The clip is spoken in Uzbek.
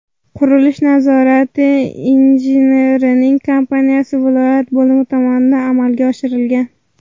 Qurilish nazorati injiniring kompaniyasi viloyat bo‘limi tomonidan amalga oshirilgan.